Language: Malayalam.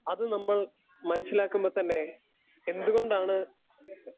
സ്പീക്കർ 2 അത് നമ്മൾ മൻസിലാക്കുമ്പത്തന്നെ എന്തുകൊണ്ടാണ്